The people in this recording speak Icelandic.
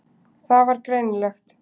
Það var greinilegt.